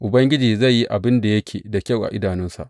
Ubangiji zai yi abin da yake da kyau a idanunsa.